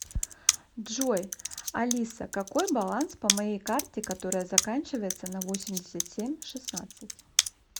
джой алиса какой баланс по моей карте которая заканчивается на восемьдесят семь шестнадцать